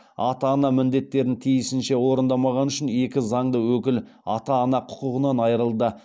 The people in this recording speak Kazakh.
ата ана міндеттерін тиісінше орындамағаны үшін екі заңды өкіл ата ана құқығынан айырылды